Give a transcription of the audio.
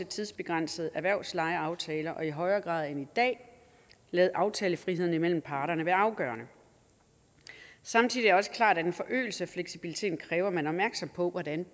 tidsbegrænsede erhvervslejeaftaler og i højere grad end i dag lade aftalefriheden mellem parterne være afgørende samtidig er det også klart at en forøgelse af fleksibiliteten kræver at man er opmærksom på hvordan